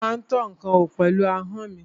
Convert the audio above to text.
Mo má ń tọ́ ǹkan wò pẹ̀lú ahọ́n mi.